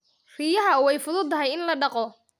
Riyaha way fududahay in la dhaqo.